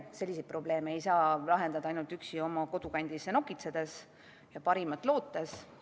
Selliseid probleeme ei saa lahendada ainult üksi oma kodukandis nokitsedes ja parimat lootes.